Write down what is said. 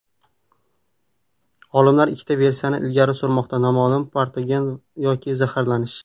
Olimlar ikkita versiyani ilgari surmoqda noma’lum patogen yoki zaharlanish.